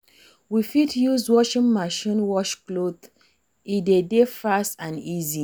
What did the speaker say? We fit use washing machine wash cloths, e de dey fast and easy